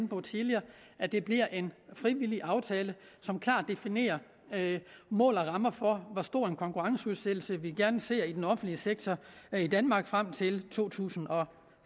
på tidligere at det bliver en frivillig aftale som klart definerer mål og rammer for hvor stor en konkurrenceudsættelse vi gerne ser i den offentlige sektor i danmark frem til to tusind og